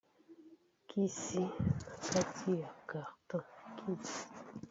Kisi Na kati ya carton.